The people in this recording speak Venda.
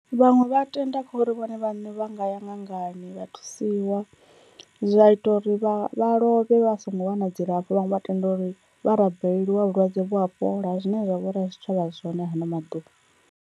Vhaṅwe vha tenda kha uri vhone vhane vha nga ya ṅangani vha thusiwa zwa ita uri vha vha lovhe vha songo wana dzilafho, vhaṅwe vha tenda uri vha rabeleliwa vhulwadze vhu a fhola zwine zwa vhori a zwi tshavha zwone hano maḓuvha.